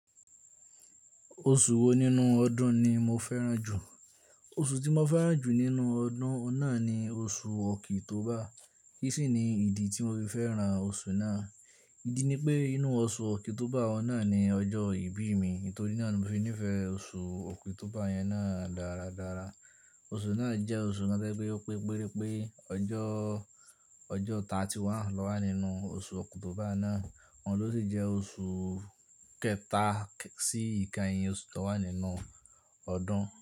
Oṣù wo nínú ọdún ni mo fẹ́ràn jù? Oṣù tí mo fẹ́ràn jù nínú ọdún náà ni oṣù ọkìtọ́ba. Kí sì ni ìdí tí mo fi fẹ́ràn oṣù náà? Ìdí ni pé inú oṣù ọkìtọ́ba ọ̀nà ni ọjọ́ ìbí mi. Nitori naa ni mò fi nífẹ̀ẹ́ oṣù ọkìtọ́ba yẹn náà dáradára. Oṣù náà jẹ́ oṣù kan to je pẹ́ pé péré pé ọjọ́, ọjọ́ mọ́kànlélọ́gbọ̀n lọ wá nínú oṣù ọkùn tó bá náà. Ọ̀hun lo sì jẹ́ oṣù kẹta sí ìka ìyìn oṣù tó wà nínú ọdún.